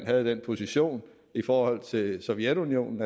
havde den position i forhold til sovjetunionen